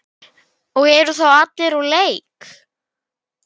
og eru þá úr leik.